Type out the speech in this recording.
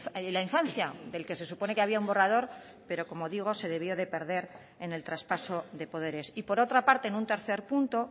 y la infancia del que se supone que había un borrador pero como digo se debió de perder en el traspaso de poderes y por otra parte en un tercer punto